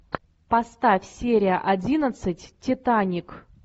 поставь серия одиннадцать титаник